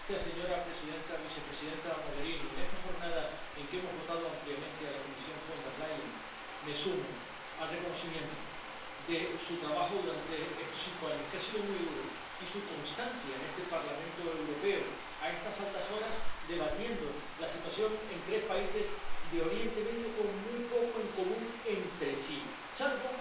Señora presidenta, vicepresidenta Mogherini, en esta jornada en que hemos votado ampliamente a la Comisión Von der Leyen, me sumo al reconocimiento de su trabajo durante estos cinco años —que ha sido muy duro— y de su constancia en este Parlamento Europeo a estas altas horas, debatiendo la situación en tres países de Oriente Medio con muy poco en común entre sí, salvo